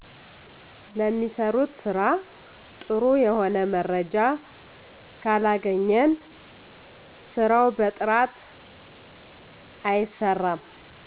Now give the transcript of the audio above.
ለሚሰሩት ስራ ጥሩ የሆነ መረጃ ካለገኘን ስራው በጥራት አይሰራም